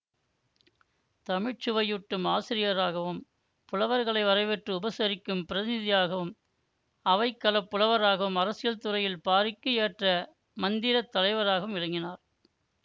தமிழ் சுவையூட்டும் ஆசிரியராகவும் புலவர்களை வரவேற்று உபசரிக்கும் பிரதிநிதியாகவும் அவைக்களப் புலவராகவும் அரசியல் துறையில் பாரிக்கு ஏற்ற மந்திரத் தலைவராகவும் விளங்கினார்